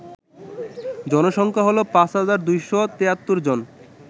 জনসংখ্যা হল ৫২৭৩ জন